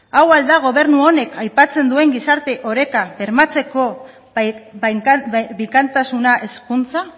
hau al da gobernu honek aipatzen duen gizarte oreka bermatzeko bikaintasuna hezkuntza